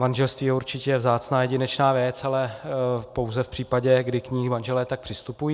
Manželství je určitě vzácná jedinečná věc, ale pouze v případě, kdy k ní manželé tak přistupují.